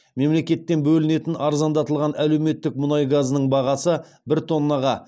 мемлекеттен бөлінетін арзандатылған әлеуметтік мұнай газының бағасы бір тоннаға